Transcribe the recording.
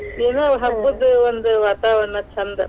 ಏನೋ ಹಬ್ಬದ ಒಂದ ವಾತಾವರಣ ಛಂದ.